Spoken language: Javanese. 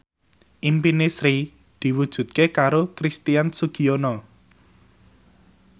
impine Sri diwujudke karo Christian Sugiono